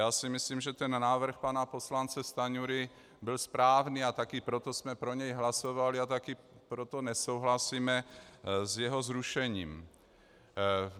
Já si myslím, že ten návrh pana poslance Stanjury byl správný, a taky proto jsme pro něj hlasovali a taky proto nesouhlasíme s jeho zrušením.